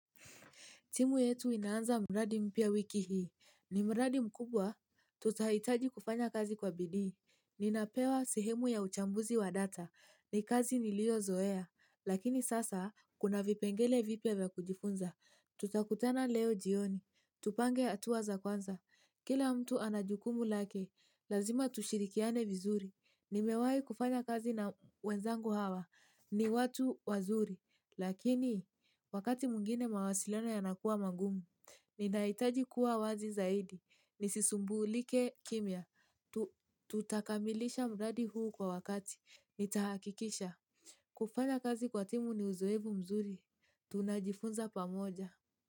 Timu yetu ina anza mradi mpya wiki hii. Ni mradi mkubwa. Tutahitaji kufanya kazi kwa bidii. Ninapewa sehemu ya uchambuzi wa data. Ni kazi nilio zoea. Lakini sasa, kuna vipengele vipya vya kujifunza. Tutakutana leo jioni. Tupange atuwa za kwanza. Kila mtu anajukumu lake. Lazima tushirikiane vizuri. Nimewai kufanya kazi na wenzangu hawa. Ni watu wazuri. Lakini, wakati mwngine mawasiliano yanakua magumu, ninahitaji kuwa wazi zaidi. Nisisumbulike kimya. Tutakamilisha mradi huu kwa wakati. Nitahakikisha. Kufanya kazi kwa timu ni uzoevu mzuri. Tunajifunza pamoja.